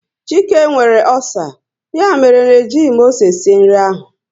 Chike nwere ọcer, ya mere na e jighị m ose sie nri ahụ